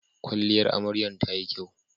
kwalliyar amaryar tayi kyau